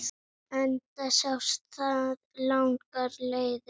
Enda sást það langar leiðir.